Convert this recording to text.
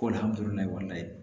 Ko